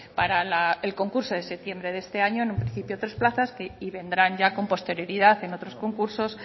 para el concurso de septiembre de este año en un principio tres plazas y vendrán ya con posterioridad en otros concursos